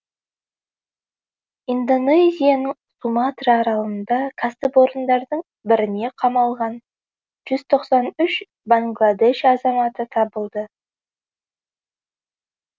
индонезияның суматра аралында кәсіпорындардың біріне қамалған жүз тоқсан үш бангладеш азаматы табылды